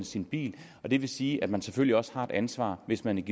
sin bil det vil sige at man selvfølgelig også har ansvar hvis man